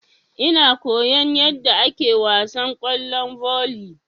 Ina koyan yadda ake wasan kwallon volley.